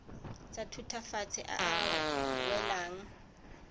tsa thutafatshe a a welang